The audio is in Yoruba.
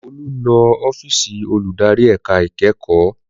Olú lọ ọ́fíìsì olùdarí ẹ̀ka ìkẹ́kọ̀ọ́